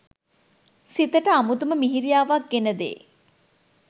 සිතට අමුතුම මිහිරියාවක් ගෙන දේ